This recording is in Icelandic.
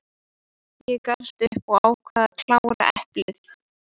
Ég gafst upp og ákvað að klára eplið.